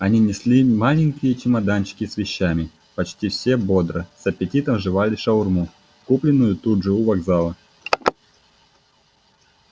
они несли маленькие чемоданчики с вещами почти все бодро с аппетитом жевали шаурму купленную тут же у вокзала